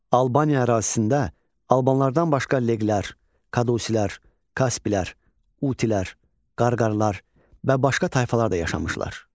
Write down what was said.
Albaniya ərazisində albanlardan başqa leqlər, Kadusilər, Kasplər, Utilər, Qarqaralar və başqa tayfalar da yaşamışlar.